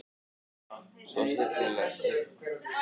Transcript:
Svo hryllilega einn.